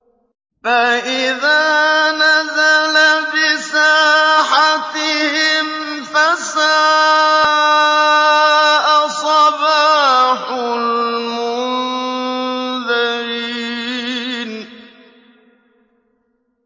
فَإِذَا نَزَلَ بِسَاحَتِهِمْ فَسَاءَ صَبَاحُ الْمُنذَرِينَ